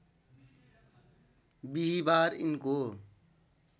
विहिबार यिनको